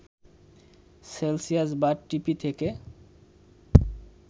Celsius বা ঢিপি থেকে